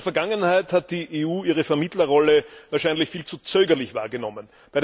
In der Vergangenheit hat die EU ihre Vermittlerrolle wahrscheinlich viel zu zögerlich wahrgenommen.